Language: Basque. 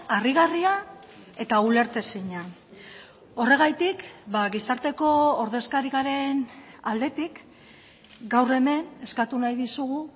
harrigarria eta ulertezina horregatik gizarteko ordezkari garen aldetik gaur hemen eskatu nahi dizugu